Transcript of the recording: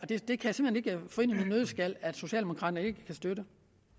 det kan jeg få ind i min nøddeskal at socialdemokraterne ikke kan støtte